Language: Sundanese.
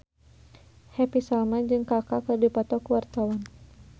Happy Salma jeung Kaka keur dipoto ku wartawan